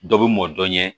Dɔ bɛ mɔn dɔn ɲɛ